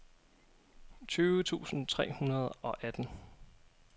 tyve tusind tre hundrede og atten